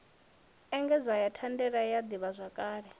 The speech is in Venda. engedzwa na thandela ya ḓivhazwakale